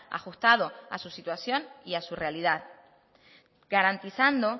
ajustado a su situación y a su realidad garantizando